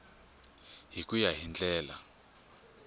hi ku ya hi ndlela